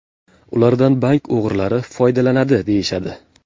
Ulardan bank o‘g‘rilari foydalanadi deyishadi.